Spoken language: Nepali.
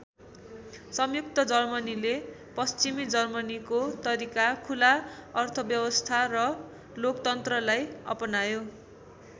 संयुक्त जर्मनीले पश्चिमी जर्मनीको तरिका खुला अर्थव्यवस्था र लोकतन्त्रलाई अपनायो।